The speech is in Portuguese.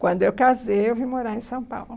Quando eu casei, eu vim morar em São Paulo.